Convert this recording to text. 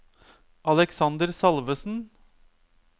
Aleksander Salvesen